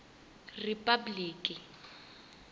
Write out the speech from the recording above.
ripabliki